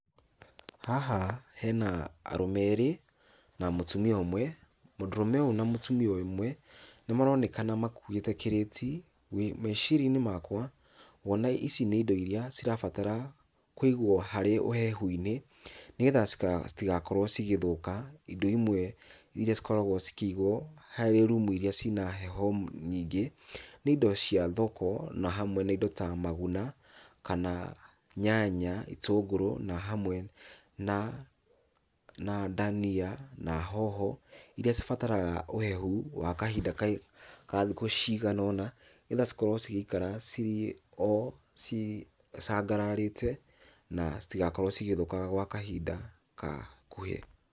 Haha hena arũme erĩ na mũtumia ũmwe, mũndũrũme ũyũ na mũtũmia ũmwe nĩ maronekana makũĩte kĩrĩti, meciria-inĩ makwa kwona ici nĩ indo iria cirabatara kũigwo harĩ ũhehu-inĩ, nĩgetha citigakorwo cigĩthũka. Indo imwe iria cikoragwo cikĩigwo harĩ rũmũ iria cina heho nyingĩ, nĩ indo cia thoko na hamwe na indo ta maguna kana nyanya, itũngũrũ na hamwe na dania na hoho, iria cibataraga ũhehu wa kahinda ka ka thikũ ciganona, nĩgetha cikorwo cigĩikara ci o cicangararĩte na citigakorwo cigĩthuka kwa kahinda gakuhĩ.